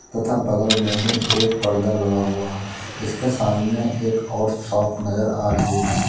तथा बगल में ही एक पर्दा लगा हुआ है जिसके सामने एक और फ्रॉक नजर आ रही है।